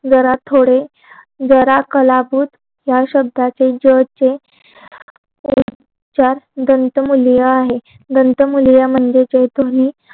जरा थोडे जरा कलाभूत या शब्दाचे ज चे उच्चार दंतमुलीया आहेत दंत मुलीया म्हणजे जैथुनी